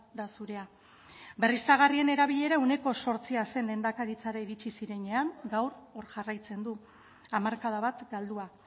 da zurea berriztagarrien erabilera ehuneko zortzi zen lehendakaritzara iritsi zirenean gaur hor jarraitzen du hamarkada bat galdua